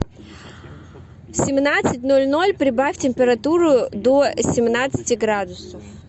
в семнадцать ноль ноль прибавь температуру до семнадцати градусов